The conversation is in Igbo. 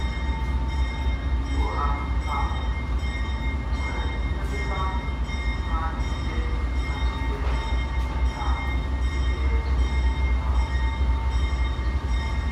Nnwògha ahụ nwere mmetụta na-àdịgide àdịgide n’ahụ ndị na-èsò ụzọ ya.